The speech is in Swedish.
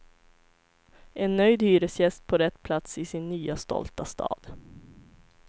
En nöjd hyresgäst på rätt plats i sin nya stolta stad.